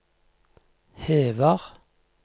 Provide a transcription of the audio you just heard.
hever